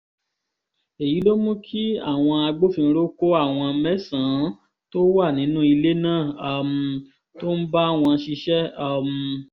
èyí ló mú kí àwọn agbófinró kó àwọn mẹ́sàn-án tó wà nínú ilé náà um tó ń bá wọn ṣiṣẹ́ um